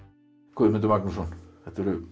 Guðmundur Magnússon þetta eru